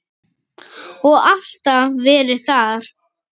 Og alltaf verið það.